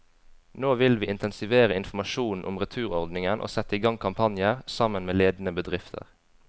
Nå vil vi intensivere informasjonen om returordningen og sette i gang kampanjer, sammen med ledende bedrifter.